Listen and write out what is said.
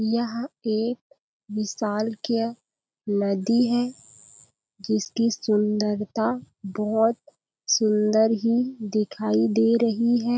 यह एक विशालकय नदी है जिसकी सुंदरता बहुत सुन्दर ही दिखाई दे रही हैं।